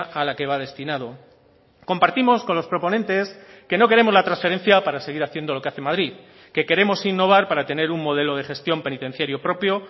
a la que va destinado compartimos con los proponentes que no queremos la transferencia para seguir haciendo lo que hace madrid que queremos innovar para tener un modelo de gestión penitenciario propio